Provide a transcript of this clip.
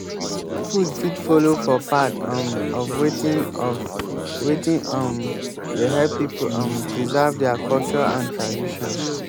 food fit follow for part um of wetin of wetin um dey help pipo um preserve their culture and tradition